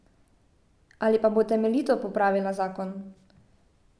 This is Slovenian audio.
Ali pa bo temeljito popravila zakon.